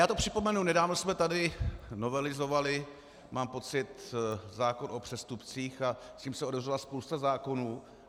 Já to připomenu, nedávno jsme tady novelizovali, mám pocit, zákon o přestupcích a s tím se otevřela spousta zákonů.